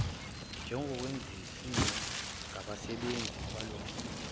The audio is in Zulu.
njengokwenziwe ngabasebenzi balowomkhumbi